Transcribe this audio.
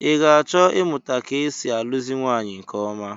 I ga-achọ ịmụta ka e si alụzi nwaanyị nke ọma?